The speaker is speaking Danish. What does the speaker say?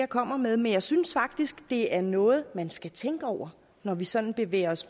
kommer med men jeg synes faktisk det er noget man skal tænke over når vi sådan bevæger os